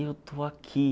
Eu estou aqui.